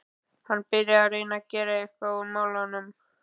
Hann byrjaði að reyna að gera eitthvað í málunum.